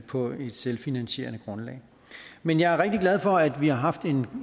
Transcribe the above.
på et selvfinansierende grundlag men jeg er rigtig glad for at vi har haft en